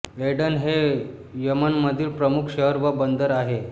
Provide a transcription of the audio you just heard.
Aiden हे यमनमधील प्रमुख शहर व बंदर आहे